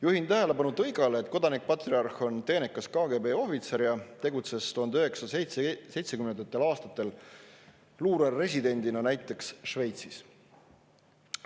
Juhin tähelepanu tõigale, et kodanik patriarh on teenekas KGB ohvitser ja tegutses 1970. aastatel luureresidendina näiteks Šveitsis.